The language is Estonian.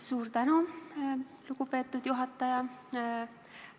Suur tänu, lugupeetud juhataja!